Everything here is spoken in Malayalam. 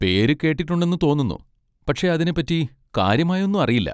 പേര് കേട്ടിട്ടുണ്ടെന്ന് തോന്നുന്നു, പക്ഷെ അതിനെപ്പറ്റി കാര്യമായൊന്നും അറിയില്ല.